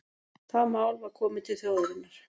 Það mál var komið til þjóðarinnar